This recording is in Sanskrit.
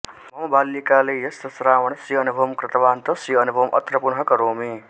मम बाल्यकाले यस्य श्रावणस्य अनुभवं कृतवान् तस्य अनुभवम् अत्र पुनः करोमि